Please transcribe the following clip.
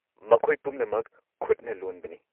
ꯃꯈꯣꯏ ꯄꯨꯝꯅꯃꯛ ꯈꯨꯠꯅ ꯂꯣꯟꯕꯅꯤ꯫